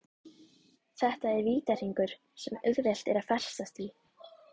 Þetta er vítahringur sem auðvelt er að festast í.